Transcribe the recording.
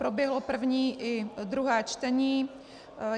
Proběhlo první i druhé čtení.